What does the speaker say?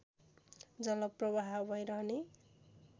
जल प्रवाह भइरहने